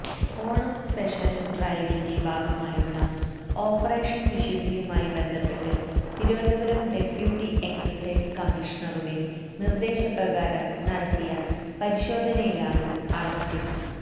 Onam special ഡ്രൈവിന്റെ ഭാഗമായുള്ള operation വിശുദ്ധിയുമായി ബന്ധപ്പെട്ട് തിരുവനന്തപുരം ഡെപ്യൂട്ടി എക്സൈസ് കമ്മിഷണറുടെ നിർദേശപ്രകാരം നടത്തിയ പരിശോധനയിലാണ് അറസ്റ്റ്